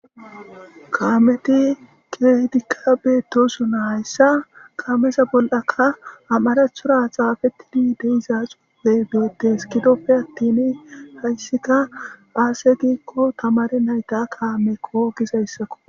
Kametti kehidikka betosona haysa kameza bollara marathon xaafetidi de'iza xuufey beetes gidope attin haysika aaze giikko tamarey nayta kaameko gizaysako.